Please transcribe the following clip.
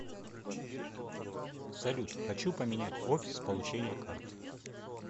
салют хочу поменять офис получения карты